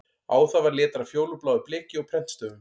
Á það var letrað fjólubláu bleki og prentstöfum